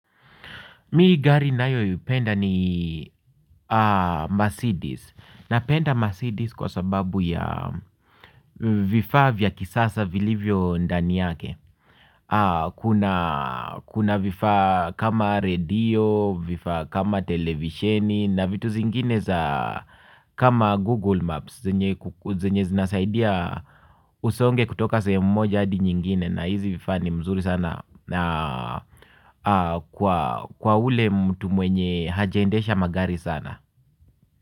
Mimi gari nayoipenda ni Mercedes. Napenda Mercedes kwa sababu ya vifaa vya kisasa vilivyo ndani yake. Kuna vifaa kama redio, vifaa kama televisioni na vitu zingine za kama Google Maps. Zenye zinasaidia usonge kutoka sehemu moja hadi nyingine na hizi vifaa ni mzuri sana. Kwa ule mtu mwenye hajaendesha magari sana.